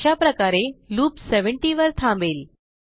अशाप्रकारे लूप 70 वर थांबेल